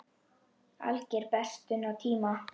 Alger bestun á tíma.